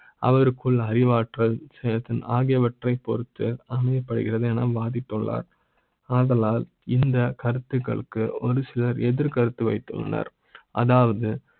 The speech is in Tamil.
அவருக்குள்ள அறிவாற்ற ல் சேர்த்து ஆகியவற்றை அமையப்படுகிறது என பாதிப்புத்துள்ளார் ஆதலால் இந்த கருத்துகளுக்கு ஒருசில ர் எதிர்க்கருத்து வைத்துள்ளனர் அதாவது